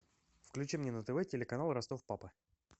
включи мне на тв телеканал ростов папа